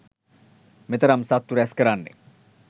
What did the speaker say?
මෙතරම් සත්තු රැස් කරන්නේ.